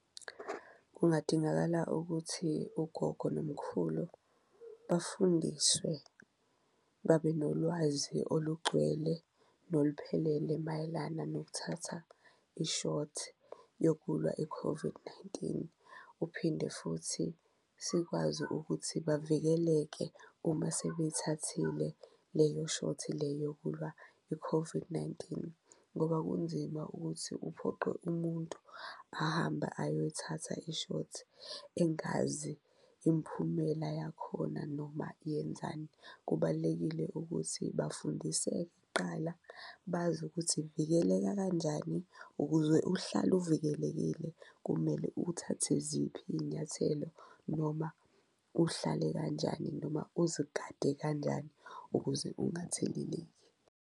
Kungadingakala ukuthi ugogo nomkhulu bafundiswe, babe nolwazi olugcwele noluphelele mayelana nokuthatha ishothi yokulwa i-COVID-19, uphinde futhi sikwazi ukuthi bavikeleke uma sebeyithathile leyo shothi le yokulwa i-COVID-19. Ngoba kunzima ukuthi uphoqe umuntu ahambe ayoyithatha ishothi engazi imiphumela yakhona noma yenzani, kubalulekile ukuthi bafundiseke kuqala bazi ukuthi ivikeleka kanjani, ukuze uhlale uvikelekile kumele uthathe ziphi iy'nyathelo. Noma uhlale kanjani noma uzigade kanjani ukuze ungatheleleki.